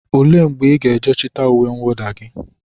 Ole mgbe ị ga-eje chịta uwe mwụda gị?